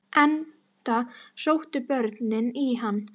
Enda sóttu börnin í hann.